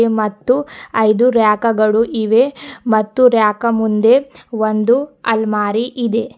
ಮತ್ತು ಐದು ರ್ರ್ಯಾಕ ಗಳು ಇವೆ ಮತ್ತು ರ್ರ್ಯಾಕ ಮುಂದೆ ಒಂದು ಅಲ್ಮಾರಿ ಇದೆ.